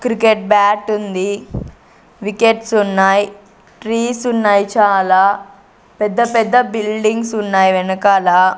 Cricket bat ఉంది wickets ఉన్నాయ్ trees ఉన్నాయ్ చాలా పెద్ద పెద్ద బిల్డింగ్స్ ఉన్నాయ్ వెనకాల.